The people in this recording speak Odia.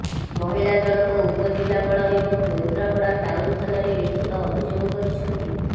ମହିଳା ଜଣକ ଉପଜିଲ୍ଲାପାଳ ଏବଂ କେନ୍ଦ୍ରାପଡା ଟାଉନ ଥାନାରେ ଲିଖିତ ଅଭିଯୋଗ କରିଛନ୍ତି